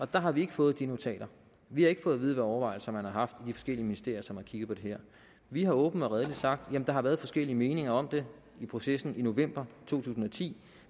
der har vi ikke fået de notater vi har ikke fået at vide hvilke overvejelser man har haft i de forskellige ministerier som har kigget på det her vi har åbent og redeligt sagt at jamen der har været forskellige meninger om det i processen i november to tusind og ti